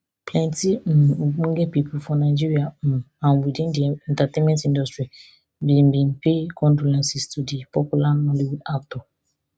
plenti um ogbonge pipo for nigeria um and within di entertainment industry bin bin pay condolences to di popular nollywood actor